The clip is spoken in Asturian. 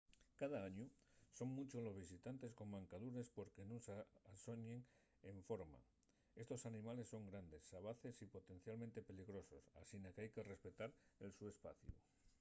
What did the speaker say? cada añu son munchos los visitantes con mancadures porque nun s'alloñen enforma estos animales son grandes xabaces y potencialmente peligrosos asina qu'hai que respetar el so espaciu